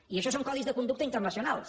i això són codis de conducta internacionals